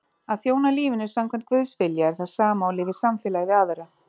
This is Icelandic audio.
Að þjóna lífinu samkvæmt Guðs vilja er það sama og lifa í samfélagi við aðra.